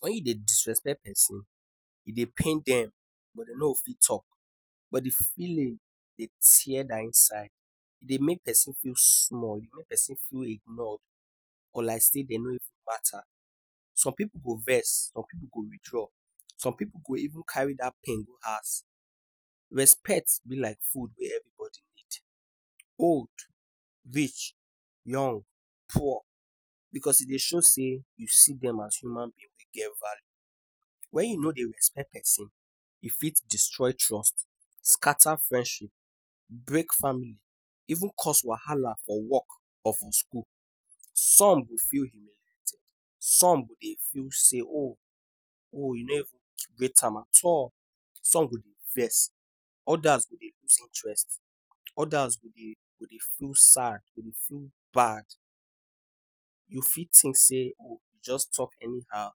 When you dey disrespect pesin, e dey pain dem but dem no go fit talk. But the feeling, e tear their inside. E dey make pesin feel small or pesin feel ignored or like say dem no matter. Some pipu go vex, some pipu go withdraw. Some pipu go even carry dat pain go house. Respect be like food wey everybody need old, rich, young, poor — because e dey show say you see dem as human being wey get value. When you no dey respect pesin, e fit destroy trust, scatter friendship, break family, even cause wahala for work or for school. Some go feel humiliated. Some go dey feel say, “Oh! oh You no even rate am at all.” Some go dey vex. Others go dey lose interest. Others go dey go dey feel sad, go dey feel bad. You fit think say you go just talk anyhow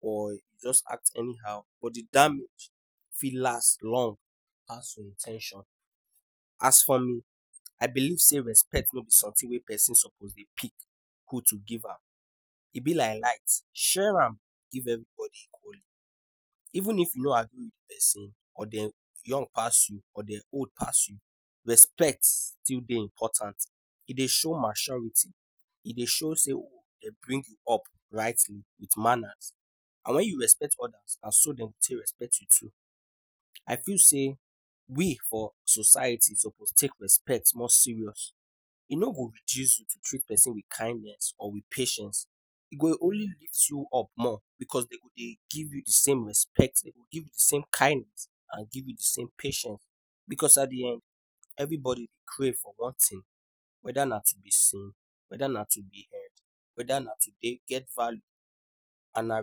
or you go just act anyhow, but the damage fit last long pass in ten tion. As for me, I believe say respect no be something wey pesin suppose dey pick who to give am. E be like light — share am give everybody equally. Even if you no agree with pesin, or dem young pass you, or dem old pass you — respect still dey important. E dey show maturity. E dey show say dem bring you up rightly with manners. And when you respect others, na so dem go take respect you too. I feel say we for society suppose take respect more serious. E no go reduce you to treat pesin with kindness or with patience. E go only lift you up more, because dem go dey give you the same respect, dey go give you the same kindness, and give you the same patience. Because at the end, everybody dey crave for one thing — whether na to be seen, whether na to be heard, whether na to dey get value and na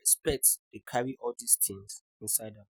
respect dey carry all dis things inside am.